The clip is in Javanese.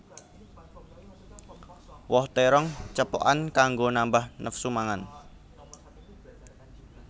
Woh térong cepokan kanggo nambah nafsu mangan